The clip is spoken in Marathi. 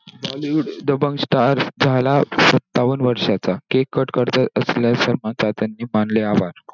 Bollywood दबंग star झाला सत्तावन्न वर्षांचा. cake cut करत असतांना सलमान खान ने मानले आभार.